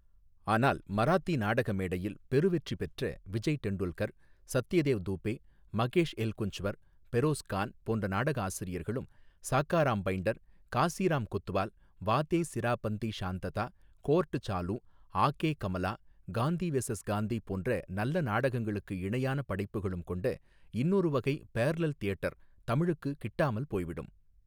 ஆனால் மராத்தி நாடக மேடையில், பெருவெற்றி பெற்ற விஜய் டெண்டுல்கர், சத்யதேவ் துபே, மகேஷ் எல்குஞ்ச்வர், பெரோஸ் கான், போன்ற நாடக ஆசிரியர்களும், சகாராம் பைண்டர் காசிராம் கொத்வால் வாதே சிராபந்தி ஷாந்ததா, கோர்ட் சாலு, ஆகே கமலா, காந்தி வெசஸ் காந்தி போன்ற நல்ல நாடகங்களுக்கு இணையான படைப்புகளும் கொண்ட இன்னொரு வகை பேர்லல் தியேட்டர் தமிழுக்கு கிட்டாமல் போய்விடும்.